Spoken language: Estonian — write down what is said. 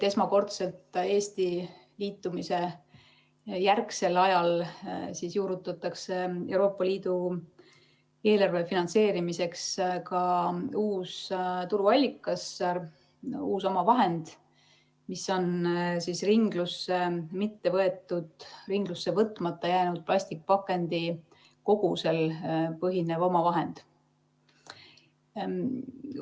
Esmakordselt juurutatakse Eesti liitumise järgsel ajal Euroopa Liidu eelarve finantseerimiseks ka uus tuluallikas, uus omavahend, mis on ringlusse võtmata jäänud plastpakendite kogusel põhinev omavahend.